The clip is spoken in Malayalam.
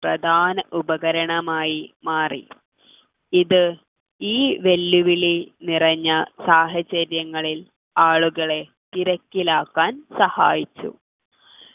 പ്രധാന ഉപകരണമായി മാറി ഇത് ഈ വെല്ലുവിളി നിറഞ്ഞ സാഹചര്യങ്ങളിൽ ആളുകളെ തിരക്കിലാക്കാൻ സഹായിച്ചു